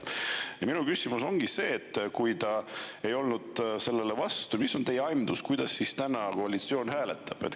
Ja minu küsimus ongi see, et kui ta ei olnud sellele vastu, mis on teie aimdus, kuidas siis täna koalitsioon hääletab.